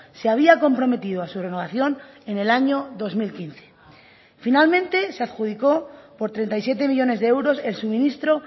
se había comprometido a su renovación en el año dos mil quince finalmente se adjudicó por treinta y siete millónes de euros el suministro